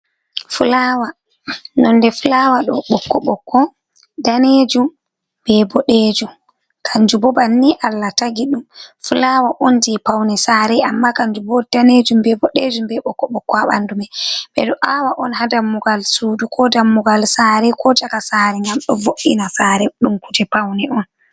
Fulawa :nonde fulawa ɗo ɓokko ɓokko, danejum be bodejum kanju bo banni Allah tagi ɗum fulawa on je pauni sare, amma kanju bo danejum be bodejum be ɓokko ɓokko ha bandu me ɓeɗo awa on ha dammugal sudu, ko dammugal saare, ko chaka sare ngam do vo’’ina saare ɗum kuje paune on.